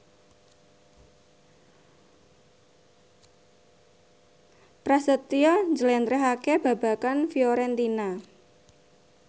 Prasetyo njlentrehake babagan Fiorentina